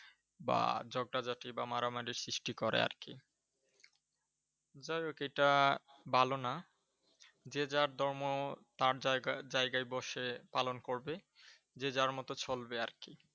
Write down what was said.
বা ঝগড়া ঝাটি বা মারামারির সৃষ্টি করে আর কি। যাই হোক এটা ভালো না, যে যার ধর্ম তার জায়গা জায়গায় বসে পালন করবে, যে যার মতো চলবে আর কি।